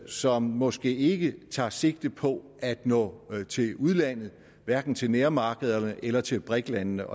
som måske ikke tager sigte på at nå til udlandet hverken til nærmarkederne eller til briks landene